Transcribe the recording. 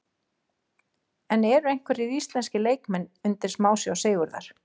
En eru einhverjir íslenskir leikmenn undir smásjá Sigurðar?